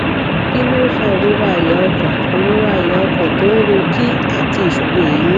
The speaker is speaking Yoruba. kí ló ń fa ìrora àyà ọkàn ìrora àyà ọkàn to n ro ki àti ìṣòro eemí